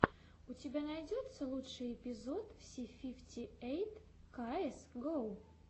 у тебя найдется лучший эпизод си фифти эйт каэс гоу